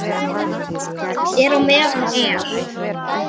Er á meðan er.